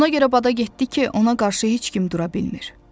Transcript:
Ona görə bada getdi ki, ona qarşı heç kim dura bilmir.